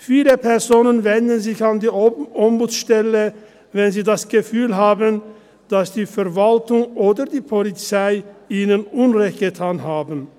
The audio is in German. Viele Personen wenden sich an die Ombudsstelle, wenn sie das Gefühl haben, dass die Verwaltung oder die Polizei ihnen Unrecht getan hat.